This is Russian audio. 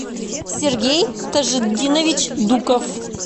сергей тажитдинович дуков